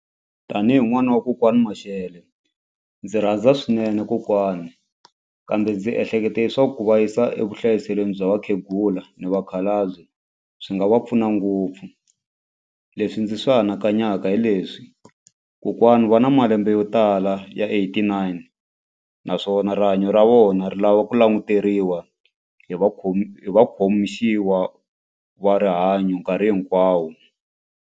Tanihi n'wana wa kokwani Mashele ndzi rhandza swinene kokwani kambe ndzi ehleketa leswaku ku va yisa evuhlayiselweni bya vakhegula ni vakhalabye swi nga va pfuna ngopfu. Lrswi ndzi swi anakanyaka hi leswi kokwana va na malembe yo tala ya eight nine naswona rihanyo ra vona ri lava ku languteriwa hi hi vakhomisiwa va rihanyo nkarhi hinkwawo.